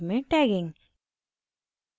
git में tagging tag करना